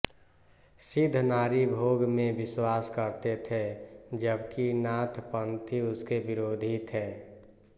सिद्ध नारी भोग में विश्वास करते थे जबकि नाथपन्थी उसके विरोधी थे